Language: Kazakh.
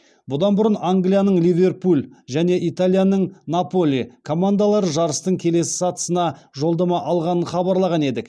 бұдан бұрын англияның ливерпуль және италияның наполи командалары жарыстың келесі сатысына жолдама алғанын хабарлаған едік